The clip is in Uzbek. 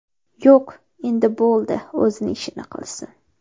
Yo‘q, endi bo‘ldi, o‘zini ishini qilsin.